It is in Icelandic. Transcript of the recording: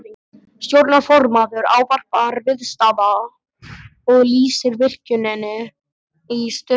Stjórnarformaður ávarpar viðstadda og lýsir virkjuninni í stuttu máli.